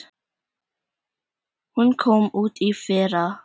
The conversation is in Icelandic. Hún kom út í fyrra.